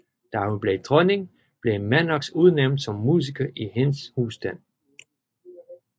Da hun blev dronning blev Mannox udnævnt som musiker i hendes husstand